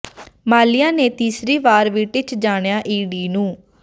ਮਾਲਿਆ ਨੇ ਤੀਸਰੀ ਵਾਰ ਵੀ ਟਿੱਚ ਜਾਣਿਆ ਈ ਡੀ ਨੂੰ